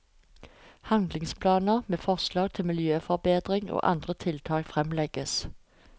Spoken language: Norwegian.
Handlingsplaner med forslag til miljøforbedringer og andre tiltak fremlegges.